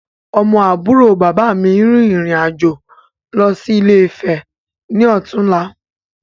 Ọmọ àbúrò bàbá mi yìí rìn ìrìn-àjò lọ sí Ilé-Ifè ni ó tún la